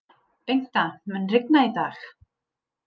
Bengta, mun rigna í dag?